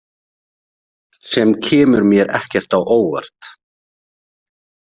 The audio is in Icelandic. Sem kemur mér ekkert á óvart.